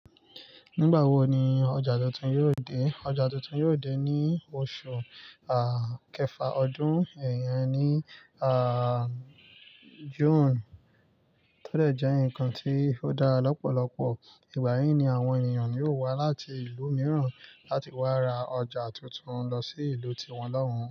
Nígbà wo ni ọjà tuntun yóò dé? Ọjà tuntun yóò dé ní oṣù àà kẹfà ọdún ẹ̀yà ní àà June, tódẹ̀ jẹ́ ǹkan tí ó dá lọ́pọ̀lọpọ̀, ìgbà yí ni àwọn ènìyàn yió wá láti ìlú mìíràn láti wá ra ọjà tuntun lọ sí ìlú tiwọn lọ́hùn-ún.